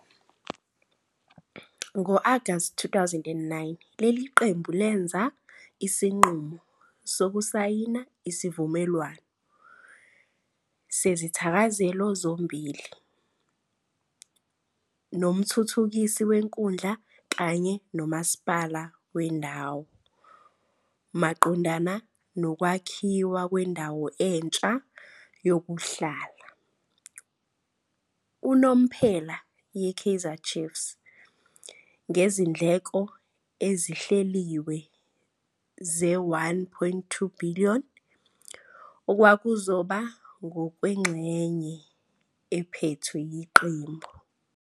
Ngo-Agasti 2006, leli qembu lenza isinqumo sokusayina "isivumelwano sezithakazelo zombili" nomthuthukisi wenkundla kanye nomasipala wendawo maqondana nokwakhiwa kwendawo entsha yokuhlala unomphela yeKaizer Chiefs, ngezindleko ezihleliwe ze-1.2 billion, okwakuzoba ngokwengxenye ephethwe yiqembu.